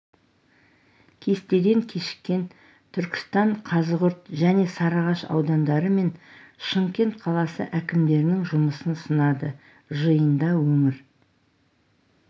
кестеден кешіккен түркістан қазығұрт және сарыағаш аудандары мен шымкент қаласы әкімдерінің жұмысын сынады жиында өңір